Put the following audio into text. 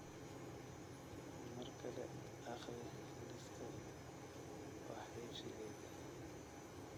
mar kale akhri liiska wax iibsigayga